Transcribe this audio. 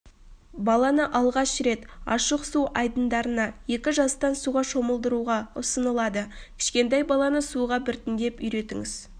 баланы алғаш рет ашық су айдындарында екі жастан суға шомылдыруға ұсынылады кішкентай баланы суға біртіндеп үйретіңіз